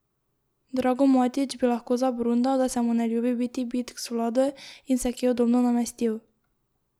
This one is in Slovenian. Drago Matić bi lahko zabrundal, da se mu ne ljubi biti bitk z vlado in se kje udobno namestil.